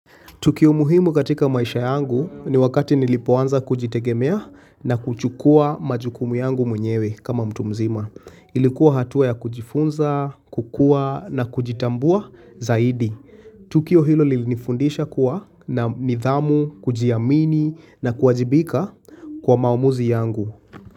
Tukio muhimu katika maisha yangu ni wakati nilipoanza kujitegemea na kuchukua majukumu yangu mwenyewe kama mtu mzima. Ilikuwa hatua ya kujifunza, kukua na kujitambua zaidi. Tukio hilo lilinifundisha kuwa na nidhamu, kujiamini na kuwajibika kwa maamuzi yangu.